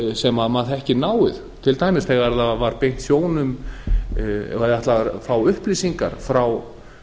sem maður þekkir náið til dæmis þegar var beint sjónum og ætlað að fá upplýsingar frá